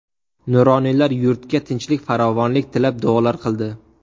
Nuroniylar yurtga tinchlik-farovonlik tilab duolar qildi.